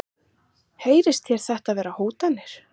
Heyrist þér þetta vera hótanir?